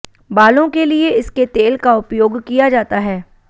बालों के लिए इसके तेल का उपयोग किया जाता है